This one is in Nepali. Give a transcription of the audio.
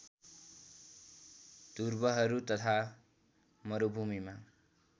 ध्रुवहरू तथा मरूभूमिमा